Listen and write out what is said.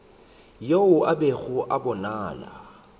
yo a bego a bonala